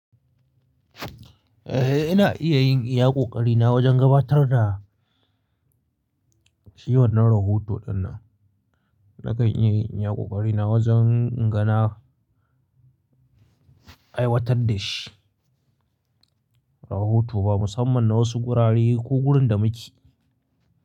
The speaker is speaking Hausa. Ehh ina iya yin iya ƙoƙari na wajen gabatar da shi wannan rahoto ɗin nan. Nakan iya yin iya ƙoƙari na wajen inga na aiwatar da shi rahoto ba, musamman na wasu gurare ko gurin da muke.